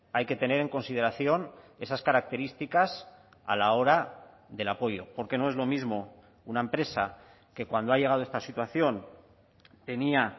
hay que tener en consideración esas características a la hora del apoyo porque no es lo mismo una empresa que cuando ha llegado esta situación tenía